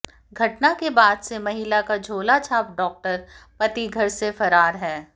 घटना के बाद से महिला का झोलाछाप डॉक्टर पति घर से फरार है